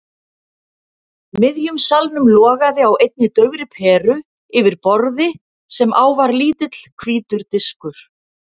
miðjum salnum logaði á einni daufri peru yfir borði sem á var lítill hvítur diskur.